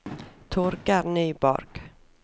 Torger Nyborg